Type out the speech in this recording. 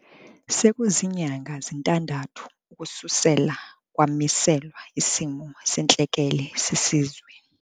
Sekuzinyanga zintandathu ukususela kwamiselwa isimo sentlekele sesizwe.